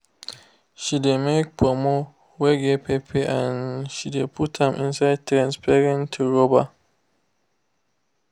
she dey make ponmo wey get pepper and she de put am inside transparent rubber.